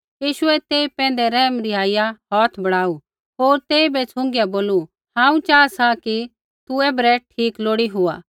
यीशुऐ तेई पैंधै रैहम रिहाइया हौथ बढ़ाऊ होर तेइबै छ़ुँगिया बोलू हांऊँ चाहा सा कि तू ऐबरै ठीक लोड़ी हुआ